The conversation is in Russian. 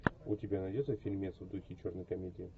у тебя найдется фильмец в духе черной комедии